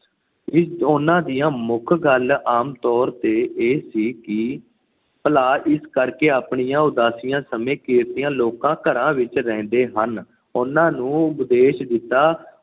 ਉਹਨਾਂ ਦੀਆਂ ਮੁੱਖ ਗੱਲ ਆਮ ਤੌਰ ਤੇ ਇਹ ਸੀ ਕਿ ਭਲਾ। ਇਸ ਕਰਕੇ ਉਹ ਆਪਣੀਆਂ ਉਦਾਸੀਆਂ ਸਮੇਂ ਕਿਰਤੀ ਲੋਕਾਂ ਦੇ ਘਰਾਂ ਵਿੱਚ ਰਹਿੰਦੇ ਹਨ। ਉਹਨਾਂ ਨੂੰ ਉਪਦੇਸ਼ ਦਿੱਤਾ।